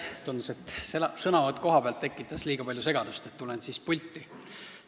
Tundus, et sõnavõtt kohalt tekitas liiga palju segadust, nii et tulen pulti.